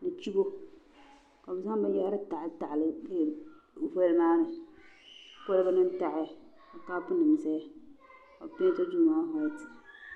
ni chibo ka bɛ zaŋ binyahiri taɣiali taɣali voli maa ni koliba nima taɣaya kapu nima zaya kabi penti duu maa waati.